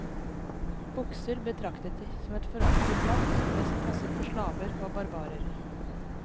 Bukser betraktet de som et foraktelig plagg som best passet for slaver og barbarer.